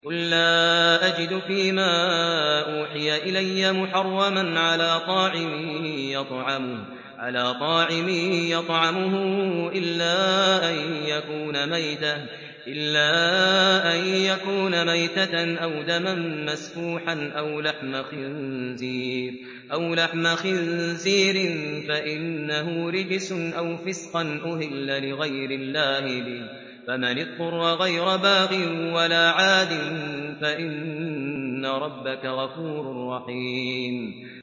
قُل لَّا أَجِدُ فِي مَا أُوحِيَ إِلَيَّ مُحَرَّمًا عَلَىٰ طَاعِمٍ يَطْعَمُهُ إِلَّا أَن يَكُونَ مَيْتَةً أَوْ دَمًا مَّسْفُوحًا أَوْ لَحْمَ خِنزِيرٍ فَإِنَّهُ رِجْسٌ أَوْ فِسْقًا أُهِلَّ لِغَيْرِ اللَّهِ بِهِ ۚ فَمَنِ اضْطُرَّ غَيْرَ بَاغٍ وَلَا عَادٍ فَإِنَّ رَبَّكَ غَفُورٌ رَّحِيمٌ